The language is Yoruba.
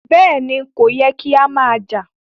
Bẹ́ẹ̀ni, kò yẹ́ kí a má jà.